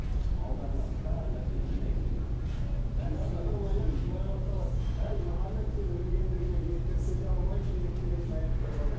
алдарыңа бар нәрсені жинаймын деген былай басталады әй мұхаммед сен өлгендерге естірте де алмайсың деп келетін аяттар бар да